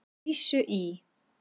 Lísu í